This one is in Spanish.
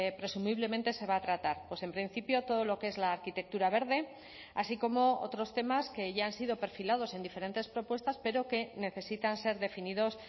presumiblemente se va a tratar en principio todo lo que es la arquitectura verde así como otros temas que ya han sido perfilados en diferentes propuestas pero que necesitan ser definidos